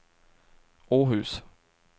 Åhus